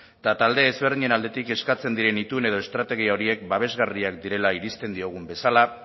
eta talde ezberdinen aldetik eskatzen diren itun edo estrategia horiek babesgarriak direla iristen diogun bezala